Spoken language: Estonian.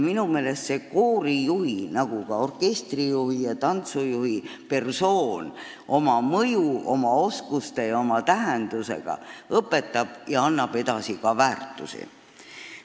Minu meelest kujundab koorijuht, nagu ka orkestrijuht ja tantsujuht persoonina oma mõju ja oskusi ära kasutades ka väärtushinnanguid.